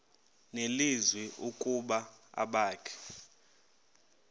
nelizwi ukuba abakhe